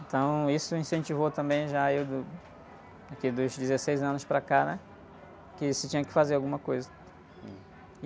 Então isso incentivou também já eu, do, aqui, dos dezesseis anos para cá, né? Que se tinha que fazer alguma coisa.